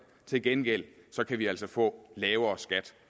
til gengæld kan vi altså få lavere skat